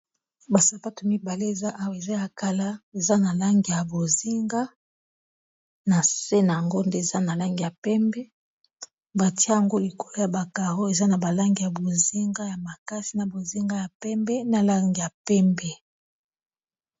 basapato mibale eza awa eza ya kala eza na langi ya bozinga na se na yango nde eza na langi ya pembe batia yango likolo ya ba caro eza na balangi ya bozinga ya makasi na bozinga ya pembe na langa ya pembe